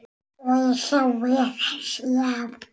Og ég sá Viðar.